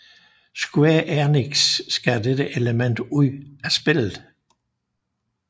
Square Enix skar dette element ud af spillet